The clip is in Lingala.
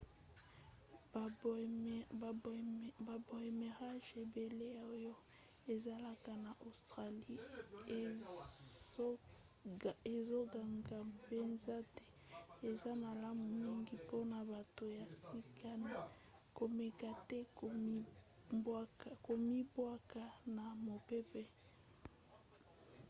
baboomerangs ebele oyo ezalaka na australie ezongaka mpenza te. eza malamu mingi mpona bato ya sika na komeka te komibwaka na mopepe